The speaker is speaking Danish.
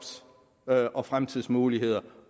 og fremtidsmuligheder